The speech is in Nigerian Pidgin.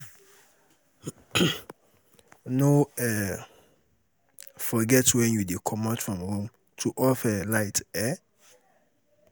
No um forget when you dey comot from room to off um light um